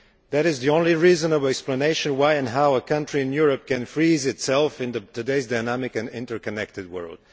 This is the only reasonable explanation for why and how a country in Europe can freeze itself in today's dynamic and interconnected world.